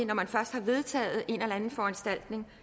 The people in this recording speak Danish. man først har vedtaget en eller anden foranstaltning